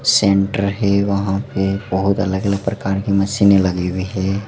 Centre है। वहां पे बहुत अलग-अलग प्रकार की मशीन लगी हुई है।